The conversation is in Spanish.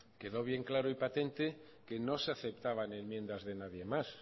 quedó bien claro y patente que no se aceptaban enmiendas de nadie más